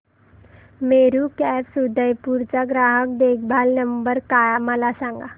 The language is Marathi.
मेरू कॅब्स उदयपुर चा ग्राहक देखभाल नंबर मला सांगा